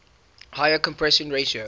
higher compression ratio